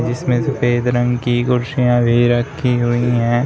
जिसमें सफेद रंग की कुर्सियां भी रखी हुई हैं।